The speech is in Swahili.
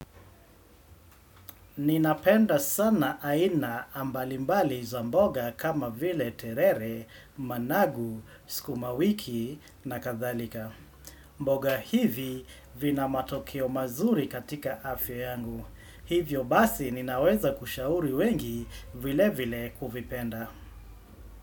Ninapenda sana aina mbalimbali za mboga kama vile terere, managu, sukumawiki na kadhalika. Mboga hivi vina matokeo mazuri katika afya yangu. Hivyo basi ninaweza kushauri wengi vilevile kuvipenda.